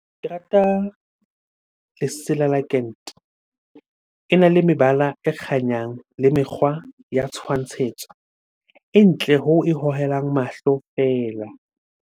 Ke rata lesela . Ena le mebala e kganyang le mekgwa ya tshwantshetso. E ntle hoo e hohelang mahlo feela.